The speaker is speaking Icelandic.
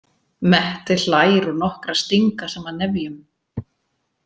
Mette hlær og nokkrar stinga saman nefjum.